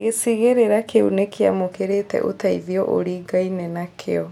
Gĩcigĩrĩra kĩu nĩkĩamũkĩrire ũteithio ũringaine nakĩo